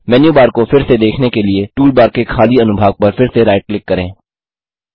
मेनू bar को फिर से देखने के लिए टूलबार के खाली अनुभाग पर फिर से राइट क्लिक करें